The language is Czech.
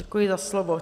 Děkuji za slovo.